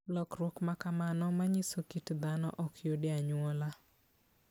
Lokruok ma kamano manyiso kit dhano ok yud e anyuola.